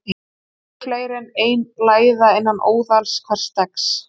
Oft eru fleiri en ein læða innan óðals hvers steggs.